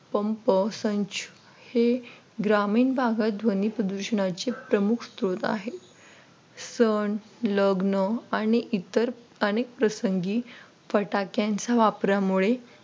pump संच हे ग्रामीण भागात ध्वनी प्रदूषणाचे प्रमुख स्त्रोत आहेत सण लग्न आणि इतर अनेक प्रसंगी फटाक्यांच्या वापरामुळे,